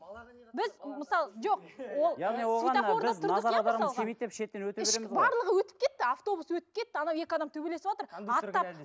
барлығы өтіп кетті автобус өтіп кетті анау екі адам төбелесіватыр